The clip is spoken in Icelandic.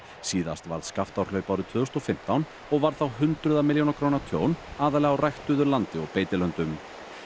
síðast varð Skaftárhlaup árið tvö þúsund og fimmtán og varð þá hundraða milljóna króna tjón aðallega á ræktuðu landi og beitilöndum